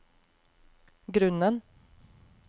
grunnen